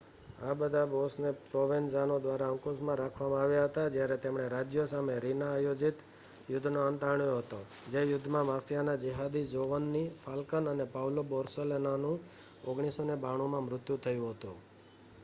આ બધા બૉસને પ્રોવેન્ઝાનો દ્વારા અંકુશમાં રાખવામાં આવ્યા હતા જ્યારે તેમણે રાજ્ય સામે રીના-આયોજિત યુદ્ધનો અંત આણ્યો હતો જે યુદ્ધમાં માફિયાના જેહાદી જોવન્ની ફાલ્કન અને પાઉલો બોર્સેલિનોનું 1992માં મૃત્યુ થયું હતું